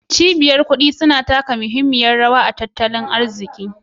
Cibiyoyin kuɗi suna taka muhimmiyar rawa a cikin tattalin arzikin zamani